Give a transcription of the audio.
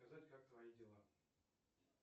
сказать как твои дела